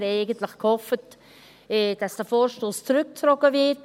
Wir haben eigentlich gehofft, dass dieser Vorstoss zurückgezogen wird.